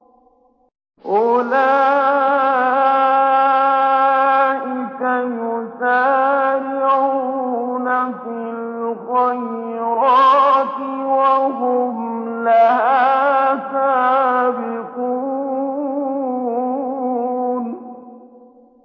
أُولَٰئِكَ يُسَارِعُونَ فِي الْخَيْرَاتِ وَهُمْ لَهَا سَابِقُونَ